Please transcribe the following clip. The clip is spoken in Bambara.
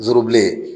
N zorobilen